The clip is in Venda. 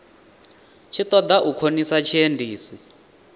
tshi ṱoḓa u khonisa tshiendisi